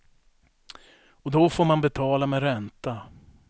Och då får man betala med ränta.